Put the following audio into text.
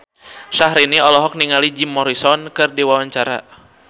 Syahrini olohok ningali Jim Morrison keur diwawancara